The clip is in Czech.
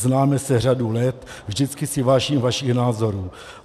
Známe se řadu let, vždycky si vážím vašich názorů.